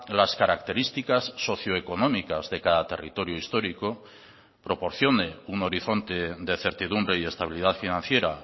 las características socio económicas de cada territorio histórico proporcione un horizonte de certidumbre y estabilidad financiera